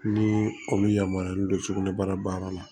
Ni o bɛ yamaruya don sugunɛbara baara la